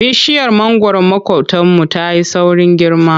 Bishiyar mangwaron maƙotanmu ta yi saurin girma.